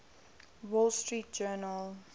wall street journal